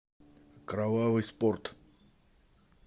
кровавый спорт